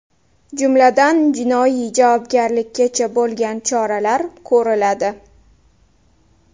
Jumladan, jinoiy javobgarlikkacha bo‘lgan choralar ko‘riladi.